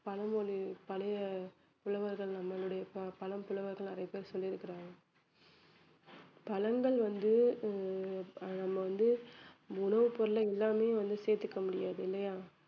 பழமொழி பழைய புலவர்கள் நம்மளுடைய ப~ பழம் புலவர்கள் நிறைய பேர் சொல்லி இருக்கிறாங்க பழங்கள் வந்து ஆஹ் நம்ம வந்து உணவு பொருள்ல எல்லாமே வந்து சேர்த்துக்க முடியாது இல்லையா